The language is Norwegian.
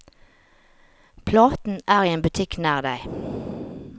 Platen er i en butikk nær deg.